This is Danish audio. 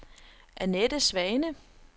Annette Svane